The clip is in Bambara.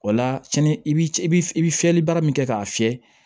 O la sini i bi i bi fiyɛli baara min kɛ k'a fiyɛ